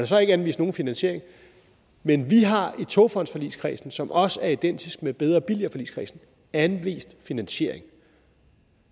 så ikke anvist nogen finansiering men vi har i togfondforligskredsen som også er identisk med bedre og billigere forligskredsen anvist finansiering